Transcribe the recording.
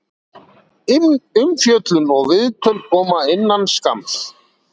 Umfjöllun og viðtöl koma innan skamms.